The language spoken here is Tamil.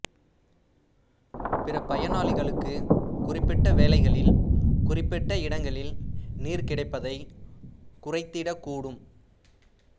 பிற பயனாளிகளுக்கு குறிப்பிட்ட வேளைகளில் குறிப்பிட்ட இடங்களில் நீர் கிடைப்பதைக் குறைத்திடக் கூடும்